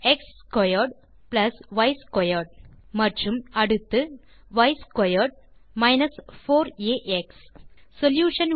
X squared plus y squared மற்றும் அடுத்து y squared minus 4 a x solution